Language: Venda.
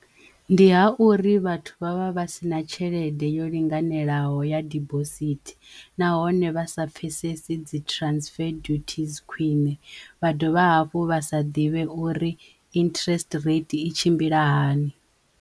Ndi ha uri vhathu vha vha vha si na tshelede yo linganelaho ya dibosithi nahone vha sa pfesesi dzi transfer duties khwiṋe vha dovha hafhu vha sa ḓivhe uri interest rate i tshimbila hani.